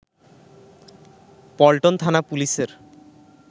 পল্টন থানা পুলিশের